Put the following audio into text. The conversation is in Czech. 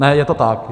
Ne, je to tak.